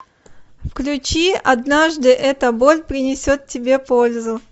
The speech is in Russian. включи однажды эта боль принесет тебе пользу